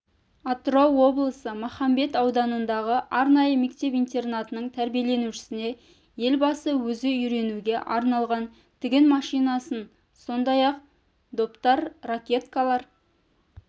атырау облысы махамбет ауданындағы арнайы мектеп-интернатының тәрбиеленушісіне елбасы өзі үйренуге арналған тігін машинасын сондай-ақ доптар ракеткалар